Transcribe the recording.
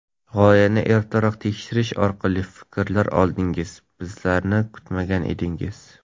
G‘oyani ertaroq tekshirish orqali fikrlar oldingiz, ba’zilarini kutmagan edingiz.